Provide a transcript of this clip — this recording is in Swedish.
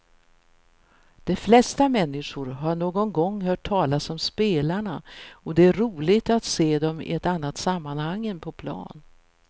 De flesta människor har någon gång hört talas om spelarna och det är roligt att se dem i ett annat sammanhang än på plan.